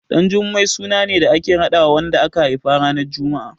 Ɗanjummai suna ne da ake raɗawa wanda aka haifa ranar Juma'a.